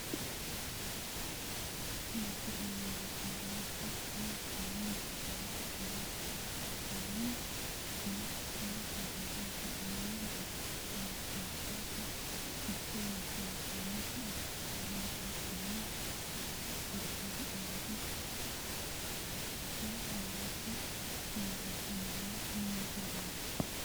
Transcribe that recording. Tini misile leellishshannohu lowontanni biifado sagale ikkitanna, tini sagaleno sidaamu daga shaafetate yite woshshitannota ikkitanna, beettuno itara anga kare noota leellishshanno misileeti.